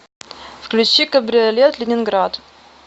включи кабриолет ленинград